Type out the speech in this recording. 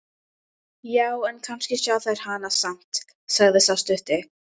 Já, en kannski sjá þeir hana samt, sagði sá stutti.